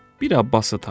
Bir abbası tapdı.